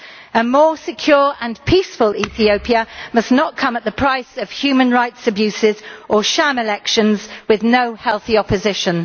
A more secure and peaceful Ethiopia must not come at the price of human rights abuses or sham elections with no healthy opposition.